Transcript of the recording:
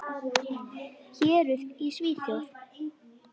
Héruð í Svíþjóð